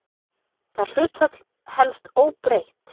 Það hlutfall helst óbreytt.